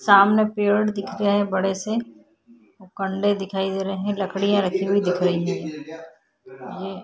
सामने पेड़ दिख रहे हैं बड़े से वो कन्डे दिखाई दे रहे हैं। लकड़ियाँ रखी हुई दिख रहीं हैं। ये --